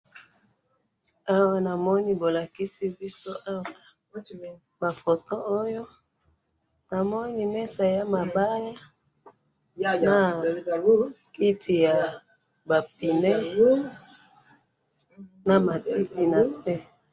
he namoni bolakisi biso awa ba photo oyo namoni mesa yama bale nakiti yaba pneux na matiti nase.